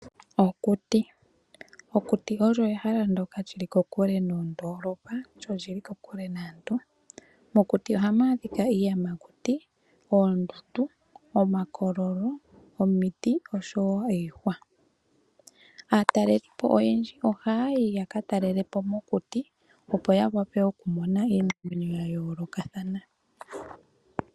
Okuti, okuti okwo ehala ndjoka lyili kokule noondoolopa lyo olyili kokule naantu. Mokuti ohamu adhika iiyamakuti, oondundu, omakololo, omiti osho wo iihwa. Aatalelipo oyendji ohaya yi yaka talelepo mokuti opo ya wape oku mona iinima ya yoolokathana.